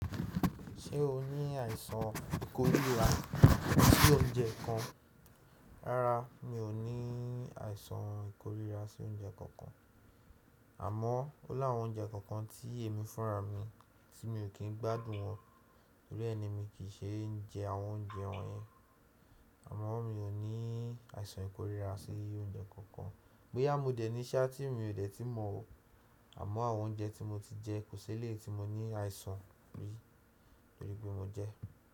Ṣé o ní àìsàn ìkoríra sí oúnjẹ kankan? Rárá, mi ò ní àìsàn ìkoríra sí oúnjẹ kankan. Àmọ́, ó láwọn oúnjẹ kọ̀ọ̀kan tí èmi fúnra mi tí mi ò kín gbádùn wọn nítorí ẹ ni mi kì í ṣe ń jẹ àwọn oúnjẹ wọ́nyẹn. Àmọ́ mi ò ní àìsàn ìkoríra sí oúnjẹ kankan. Boya mode ní sa tí mi ò dẹ̀ ti mọ̀ ọ́. Àmọ́ àwọn oúnjẹ tí mo ti jẹ kò ṣe lè tí mo ní àìsàn rí torí pé mo jẹ ẹ́.